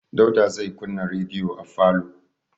Dauda zai kunna rediyo a falo.